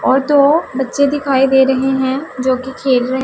और दो बच्चे दिखाई दे रहे हैं जो कि खेल रहे--